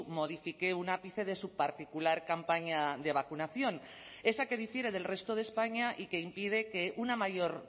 modifique un ápice de su particular campaña de vacunación esa que difiere del resto de españa y que impide que una mayor